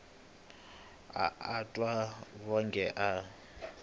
a a twa wonge a